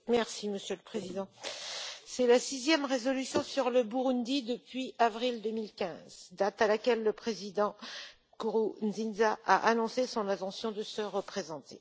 Monsieur le Président, c'est la sixième résolution sur le Burundi depuis avril 2015, date à laquelle le président Nkurunziza a annoncé son intention de se représenter.